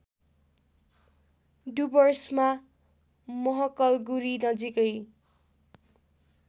डुवर्समा महकलगुरी नजिकै